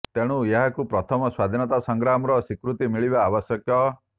ତେଣୁ ଏହାକୁ ପ୍ରଥମ ସ୍ବାଧୀନତା ସଂଗ୍ରାମର ସ୍ବୀକୃତି ମିଳିବା ଆବଶ୍ୟକ